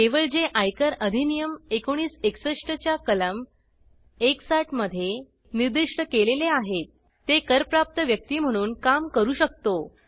केवळ जे आयकर अधिनियम 1961 च्या कलम 160 मध्ये निर्दिष्ट केलेले आहेत ते करप्राप्त व्यक्ती म्हणून काम करू शकतो